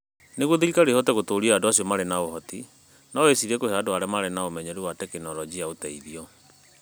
Nĩguo thirikari ĩhote gũtũũria andũ acio marĩ na ũhoti, no ĩcirie kũhe andũ arĩa marĩ na ũmenyeru wa Ũhoro na Teknoroji ũteithio.